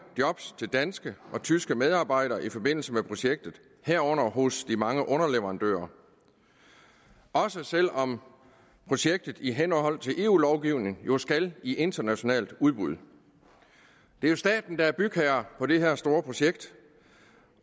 job til danske og tyske medarbejdere i forbindelse med projektet herunder hos de mange underleverandører også selv om projektet i henhold til eu lovgivningen jo skal i internationalt udbud det er staten der er bygherre på det her store projekt